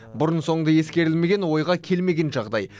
бұрын соңды ескерілмеген ойға келмеген жағдай